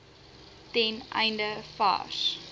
ten einde vars